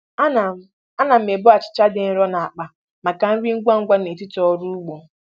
Ana m Ana m ebu achịcha dị nro n'akpa m maka nri ngwa ngwa n'etiti ọrụ ugbo.